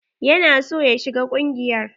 Ya na son ya shiga ƙungiyar.